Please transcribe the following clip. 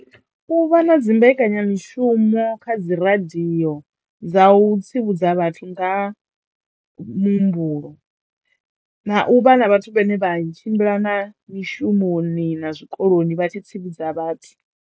U vha na dzimbekanyamishumo kha dzi radio dza u tsivhudza vhathu nga ha muhumbulo na u vha na vhathu vhane vha tshimbila na mishumoni na zwikoloni vha tshi tsivhudza vhathu.